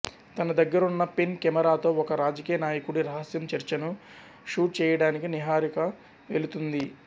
తన దగ్గరున్న పెన్ కెమెరాతో ఒక రాజకీయ నాయకుడి రహస్య చర్చను షూట్ చేయడానికి నిహారిక వెలుతుంది